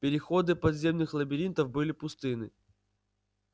переходы подземных лабиринтов были пустынны